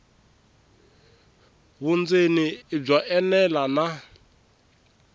vundzeni i byo enela na